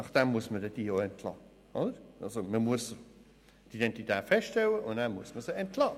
Man müsste ihre Identität feststellen und sie danach entlassen.